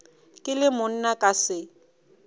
ke le monna ka se